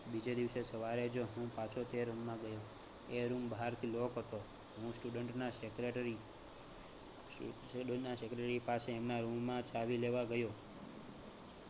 બીજે દીવસે સવારે જ હું પાછો તે room માં ગયો. એ room બહારથી lock હતો. હું student ના secretary student ના secretary પાસે એમના room માં ચાવી લેવા ગયો